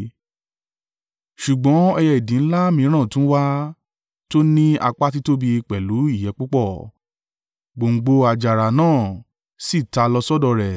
“ ‘Ṣùgbọ́n ẹyẹ idì ńlá mìíràn tún wá, tó ní apá títóbi pẹ̀lú ìyẹ́ púpọ̀. Gbòǹgbò àjàrà náà sì ta lọ sọ́dọ̀ rẹ̀